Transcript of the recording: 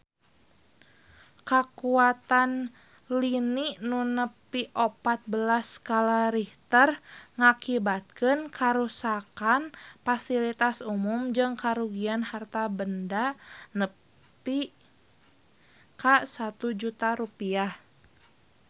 Kakuatan lini nu nepi opat belas skala Richter ngakibatkeun karuksakan pasilitas umum jeung karugian harta banda nepi ka 1 juta rupiah